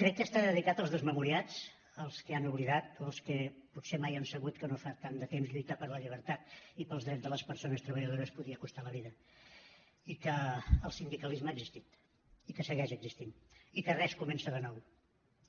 crec que està dedicat als desmemoriats als que han oblidat o als que potser mai han sabut que no fa tant de temps lluitar per la llibertat i pels drets de les persones treballadores podia costar la vida i que el sindicalisme ha existit i que segueix existint i que res comença de nou